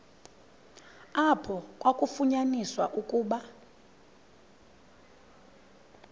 apho kwafunyaniswa ukuba